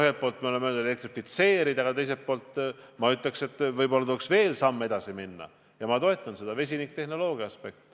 Ühelt poolt me oleme öelnud, et tuleb elektrifitseerida, aga teiselt poolt ütleksin ma, et võib-olla tuleks samm kaugemale minna ning valida vesiniktehnoloogia.